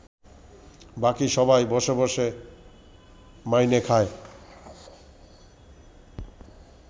বাকি সবাই বসে বসে মাইনে খায়